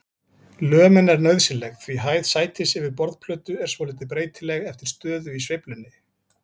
Lömin er nauðsynleg því hæð sætis yfir borðplötu er svolítið breytileg eftir stöðu í sveiflunni.